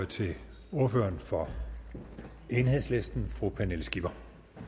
til ordføreren for enhedslisten fru pernille skipper